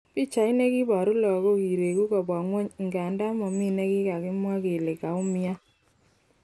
Pichait nekiboru lagok kiregu kobwa ngwony ingandan momi nekikimwa kele kaumian.